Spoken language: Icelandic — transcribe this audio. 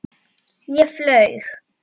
Ég flaug.